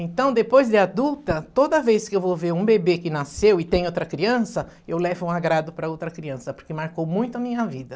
Então, depois de adulta, toda vez que eu vou ver um bebê que nasceu e tem outra criança, eu levo um agrado para a outra criança, porque marcou muito a minha vida.